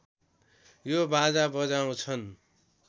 यो बाजा बजाउँछन्